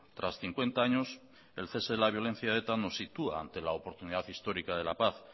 tras cincuenta años el cese de la violencia de eta nos sitúa ante la oportunidad histórica de la paz